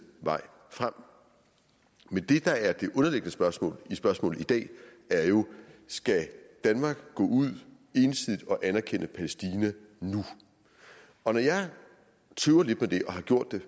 vej frem men det der er det underliggende spørgsmål spørgsmål i dag er jo skal danmark gå ud ensidigt og anerkende palæstina nu og når jeg tøver lidt med det og har gjort det